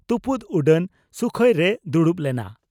ᱛᱩᱯᱩᱫ ᱩᱰᱟᱹᱱ ᱥᱩᱠᱷᱚᱭ ᱨᱮᱭ ᱫᱩᱲᱩᱵ ᱞᱮᱱᱟ ᱾